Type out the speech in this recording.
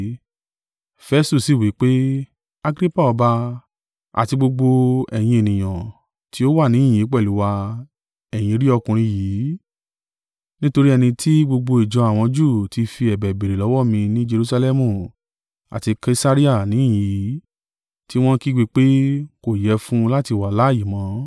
Festu sì wí pé, “Agrippa ọba, àti gbogbo ẹ̀yin ènìyàn tí ó wà níhìn-ín pẹ̀lú wa, ẹ̀yin rí ọkùnrin yìí, nítorí ẹni tí gbogbo ìjọ àwọn Júù tí fi ẹ̀bẹ̀ béèrè lọ́wọ́ mi ni Jerusalẹmu àti Kesarea níhìn-ín yìí, tí wọ́n ń kígbe pé, kò yẹ fún un láti wà láààyè mọ́.